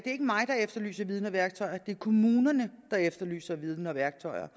mig der efterlyser viden og værktøjer det er kommunerne der efterlyser viden og værktøjer